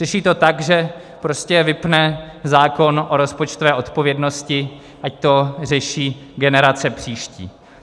Řeší to tak, že prostě vypne zákon o rozpočtové odpovědnosti, ať to řeší generace příští.